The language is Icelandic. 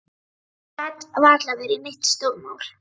Það gat varla verið neitt stórmál.